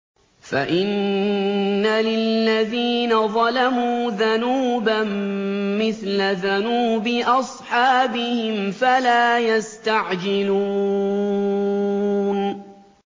فَإِنَّ لِلَّذِينَ ظَلَمُوا ذَنُوبًا مِّثْلَ ذَنُوبِ أَصْحَابِهِمْ فَلَا يَسْتَعْجِلُونِ